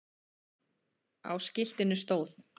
Á skiltinu stóð